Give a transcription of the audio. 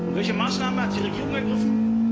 Welche Maßnahmen hat die Regierung ergriffen?